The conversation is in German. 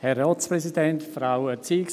Kommissionssprecher